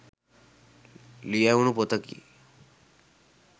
ලියැවුණු පොතකි.